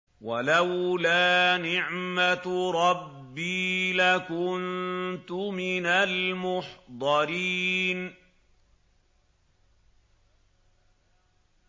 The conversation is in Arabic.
وَلَوْلَا نِعْمَةُ رَبِّي لَكُنتُ مِنَ الْمُحْضَرِينَ